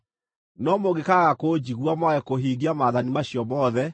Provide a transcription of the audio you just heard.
“ ‘No mũngĩkaaga kũnjigua, mwage kũhingia maathani macio mothe,